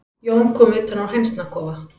Jón kom utan úr hænsnakofa.